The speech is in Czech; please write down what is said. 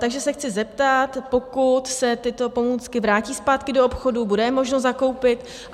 Takže se chci zeptat, pokud se tyto pomůcky vrátí zpátky do obchodů, bude je možno zakoupit?